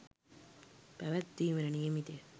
පැවැත්වීමට නියමිතය.